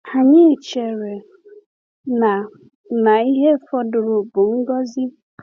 Anyị chere na na ihe fọdụrụ bụ ngọzi.